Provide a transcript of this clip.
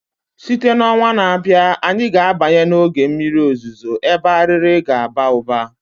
Site na ọnwa na-abịa, anyị ga-abanye n'oge mmiri ozuzo ebe Arịrị ga-aba ụba